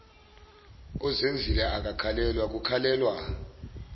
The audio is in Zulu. uzenzile akakhalelwa kukhalelwa